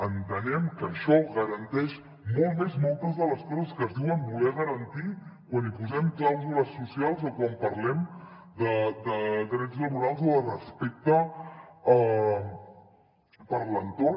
entenem que això garanteix molt més moltes de les coses que es diuen voler garantir quan hi posem clàusules socials o quan parlem de drets laborals o de respecte per l’entorn